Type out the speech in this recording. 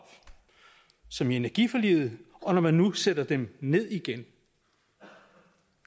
som i energiforliget og når man nu sætter dem ned igen